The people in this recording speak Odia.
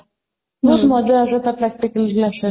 ବହୁତ ମଜା ଆସେ ତା practical class ରେ